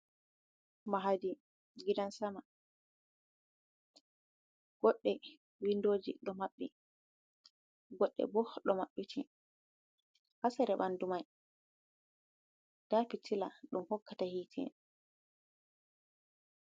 Mahadi gidan-sama. Goɗɗe windoji ɗo maɓɓi, goɗɗe bo ɗo maɓɓiti. Ha sera ɓandu mai nda fitila ɗum hokkata hite.